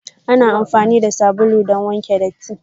Ana amfani da sabulu don wanke datti.